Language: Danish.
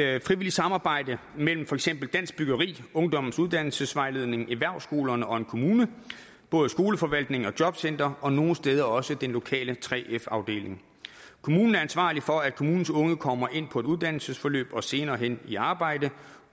er et frivilligt samarbejde mellem for eksempel dansk byggeri ungdommens uddannelsesvejledning erhvervsskolerne og en kommune både skoleforvaltningen og jobcenteret og nogle steder også den lokale 3f afdeling kommunen er ansvarlig for at kommunens unge kommer ind på et uddannelsesforløb og senere hen i arbejde